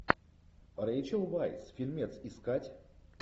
рэйчел вайс фильмец искать